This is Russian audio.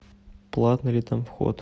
платный ли там вход